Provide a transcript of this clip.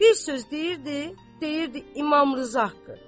Bir söz deyirdi, deyirdi İmam Rza haqqı.